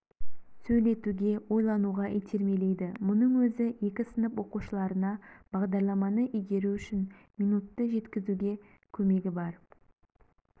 сөйлетуге ойлануға итермелейді мұның өзі екі сынып оқушыларына бағдарламаны игеру үшін минутты жеткізуде көмегі бар